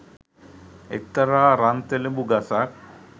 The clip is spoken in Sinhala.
එක්තරා රන්තෙලඹු ගසක්